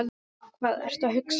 Hvað ertu að hugsa?